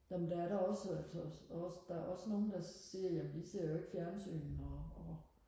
nå men der er da også altså også der er også nogle der siger jamen vi ser jo ikke fjernsyn og